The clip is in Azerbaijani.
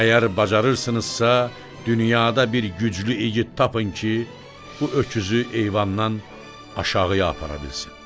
Əgər bacarırsınızsa, dünyada bir güclü igid tapın ki, bu öküzü eyvandan aşağıya apara bilsin.